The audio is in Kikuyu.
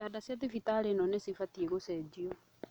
Itanda cia thibitarĩ ĩno nĩcibatie gũcenjio